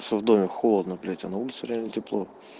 все в доме холодно блять а на улице реально тепло